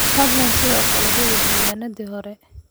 Fadlan sidoo kale hubi diiwaanadii hore.